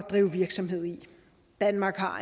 drive virksomhed i danmark har